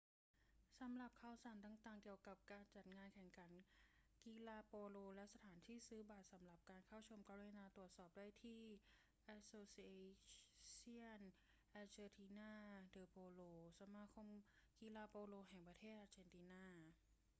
สำหรับข่าวสารต่าง ๆ เกี่ยวกับการจัดงานแข่งขันกีฬาโปโลและสถานที่ซื้อบัตรสำหรับการเข้าชม กรุณาตรวจสอบได้ที่ asociacion argentina de polo สมาคมกีฬาโปโลแห่งประเทศอาเจนตินา